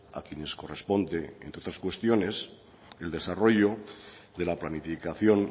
a quienes corresponde entre otras cuestiones el desarrollo de la planificación